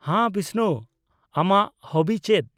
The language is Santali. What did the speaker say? -ᱦᱟᱸ, ᱵᱤᱥᱱᱩ ᱟᱢᱟᱜ ᱦᱚᱵᱤ ᱪᱮᱫ ?